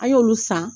An y'olu san